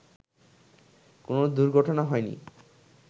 কোন দুর্ঘটনা হয়নি